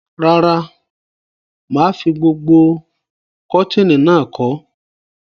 Rárá, mà á fi gbogbo kọ̀tínì náà kọ́.